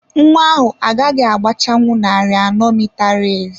Nwa ahụ agaghị agbachanwu narị ano Metre race.